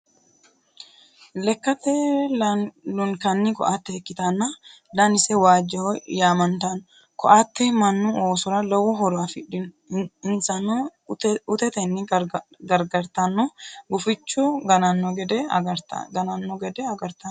Lekkate lunkanni koatte ikkitanna danise waajjoho yaamantanno. Koatte mannu oosora lowo horo afidhino insano utetenni gargartanno, gufichu gananno gede agartanno.